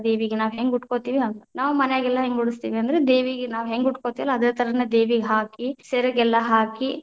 ದೇವಿಗ ನಾವ್‌ ಹೆಂಗ ಉಟ್ಕೊತೀವಿ, ಹಂಗ ನಾವ ಮನ್ಯಾಗೆಲ್ಲಾ ಹೆಂಗ ಉಡಸ್ತೇವಿ ಅಂದ್ರ ದೇವಿಗೆ ನಾವ ಹೆಂಗ ಉಟಕೊತಿವಲ್ಲಾ ಅದ ಥರಾನ ದೇವಿಗ ಹಾಕಿ, ಸೆರಗೆಲ್ಲಾ ಹಾಕಿ.